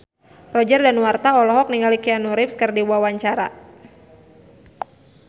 Roger Danuarta olohok ningali Keanu Reeves keur diwawancara